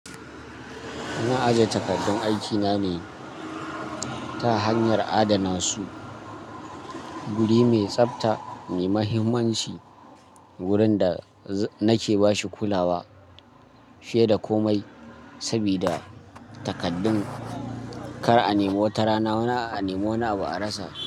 Ina ajiye takardun aikina ne ta hanyar adana su. Guri mai tsafta mai mahimmanci wurin da nake ba shi kulawa fiye da komai sabida takardun kar a nemo wata rana, a nemo wani abu a rasa.